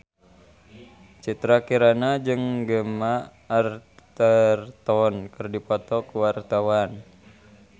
Citra Kirana jeung Gemma Arterton keur dipoto ku wartawan